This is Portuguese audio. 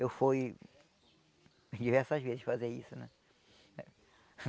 Eu fui diversas vezes fazer isso, né?